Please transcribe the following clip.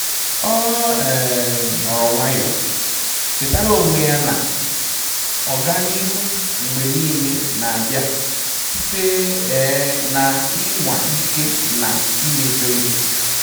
Ọ um nọọrọ nwayọ, chetara onwe ya na ọganihu mgbe niile n'abia site um na ịnwa ike na imejọ ihe